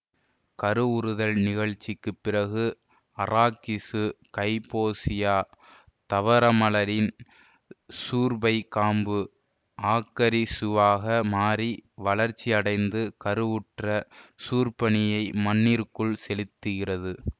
கருவுறுதல் நிகழ்ச்சிக்குப் பிறகு அராக்கிசு ஃகைபோசியா தாவரமலரின் சூற்பைக் காம்பு ஆக்கத்திசுவாக மாறி வளர்ச்சி அடைந்து கருவுற்ற சூற்பனியை மண்ணிற்குள் செலுத்துகிறது